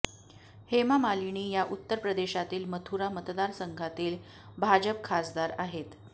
हेमा मालिनी या उत्तर प्रदेशातील मथुरा मतदारसंघातील भाजप खासदार आहेत